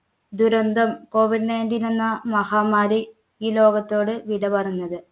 ദുരന്തം COVID nineteen എന്ന മഹാമാരി ഈ ലോകത്തോട് വിട പറഞ്ഞത്.